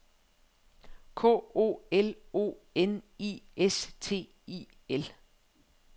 K O L O N I S T I L